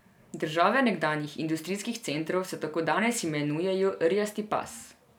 Države nekdanjih industrijskih centrov se tako danes imenujejo rjasti pas.